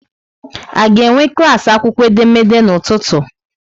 A ga-enwe klas akwụkwọ edemede n'ụtụtụ?